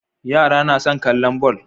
Yara na son kallon ball